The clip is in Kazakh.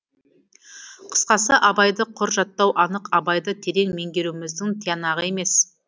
қысқасы абайды құр жаттау анық абайды терең меңгеруіміздің тиянағы емес